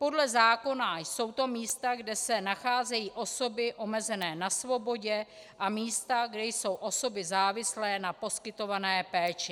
Podle zákona jsou to místa, kde se nacházejí osoby omezené na svobodě, a místa, kde jsou osoby závislé na poskytované péči.